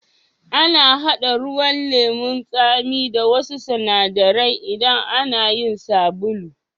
Ana hada ruwan lemu'n Sami da wassu sinadaran idan ana yin sabulu.